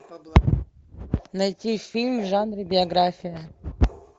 найти фильм в жанре биография